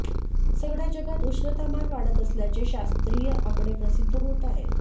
सगळ्या जगात उष्णतामान वाढत असल्याचे शास्त्रीय आकडे प्रसिद्ध होत आहेत